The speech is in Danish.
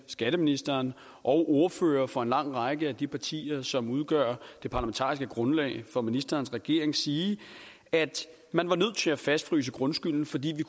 skatteministeren og ordførere fra en lang række af de partier som udgør det parlamentariske grundlag for ministerens regering sige at man var nødt til at fastfryse grundskylden fordi vi